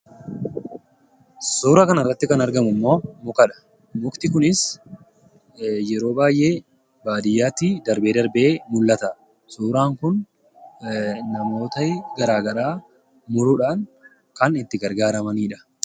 Suuraa kanarratti kan argamu immoo muka dha. Mukti kunis yeroo baay'ee baadiyyaatti darbee darbee mul'ata. Suuraan kun namooti garaagaraa muruudhaan kan itti gargaaramanii dha.